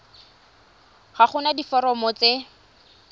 ga go na diforomo tse